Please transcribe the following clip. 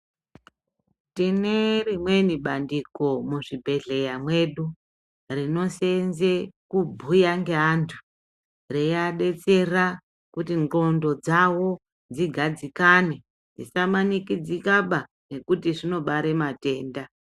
Tine rimweni bandiko muzvibhedhleya mwedu, rinosenze kubhuya ngeantu. Reiabetsera kuti ndxondo dzavo dzidadzikane. Dzisamanikidzikaba nekuti zvinobare matenda.